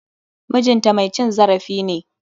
MIjin ta mai cin zarafi ne.